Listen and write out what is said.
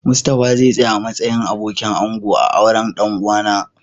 Mustapha zau tsaya a'matsayin abokin ango a'auren dan uwa na.